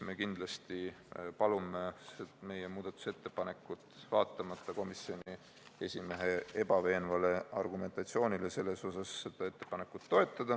Me kindlasti palume meie muudatusettepanekut toetada, vaatamata komisjoni esimehe ebaveenvale argumentatsioonile.